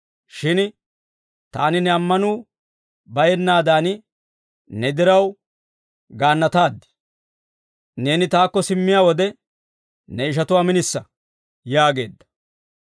Shin taani ne ammanuu bayennaadan ne diraw gaannataaddi. Neeni taakko simmiyaa wode ne ishatuwaa minisa» yaageedda.